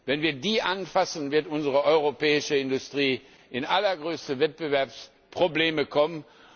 an! Wenn wir sie anfassen, wird unsere europäische Industrie in allergrößte Wettbewerbsprobleme kommen.